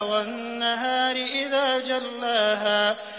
وَالنَّهَارِ إِذَا جَلَّاهَا